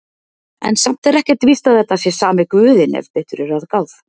En samt er ekkert víst að þetta sé sami guðinn ef betur er að gáð.